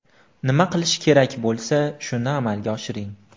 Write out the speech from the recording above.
Nima qilish kerak bo‘lsa, shuni amalga oshiring.